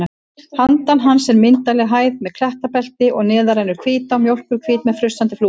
Handan hans er myndarleg hæð með klettabelti og neðar rennur Hvítá, mjólkurhvít með frussandi flúðum.